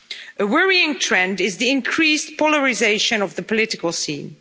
A worrying trend is the increased polarisation of the political scene.